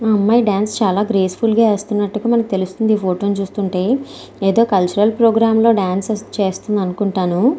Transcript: అమ్మాయి ఈ డాన్స్ చాలా గ్రేస్ ఫుల్ గా ఇస్తున్నట్టు అయితే తెలుస్తుంది. ఈ ఫోటో చూస్తుంటే ఏదో కల్చరల్ ప్రోగ్రామ్స్ డాన్స్ అనిపిస్తుంది.